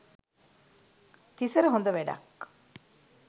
තිසර හොද වැඩක්.